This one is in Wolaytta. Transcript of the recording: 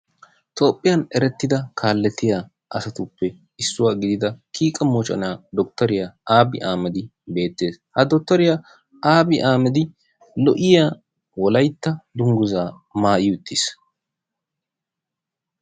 Toophiyan erettida kaaletiyaa asatuppe issuwa gidida kiike moccona Dottoriya Aabi Aahamadi beettees. Ha dottoriya Aabi Aahammadi lo''iya awolaytta dungguza maayyi uttiis.